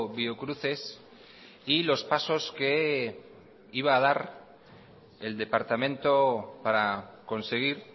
biocruces y los pasos que iba a dar el departamento para conseguir